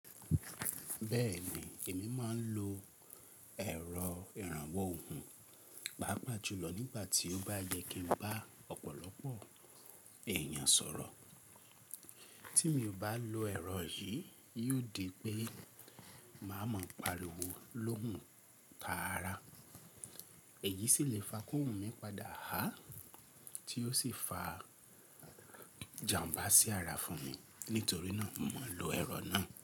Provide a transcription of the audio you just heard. Bẹ́ẹ̀ni, èmi máa ń lo ẹ̀rọ ìrànwọ́ ohùn pàápàá jùlọ nígbà tí ó bá yẹ kí ń bá ọ̀pọ̀lọpọ̀ èèyàn sọ̀rọ̀. Tí mi ò bá lo ẹ̀rọ yìí, yóò di pé máa mọ̀ pariwo lóhùn tààrà. Èyí sì le fa kohun mi padà há tí ó sì fa ijàm̀bá sí àrà fún mi. Nítorí náà, mo máa ń lo ẹ̀rọ náà.